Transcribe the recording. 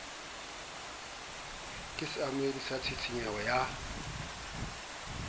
ka seamohedi sa tshisinyeho ya